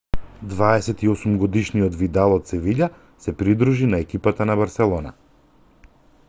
28-годишниот видал од севиља се придружи на екипата на барселона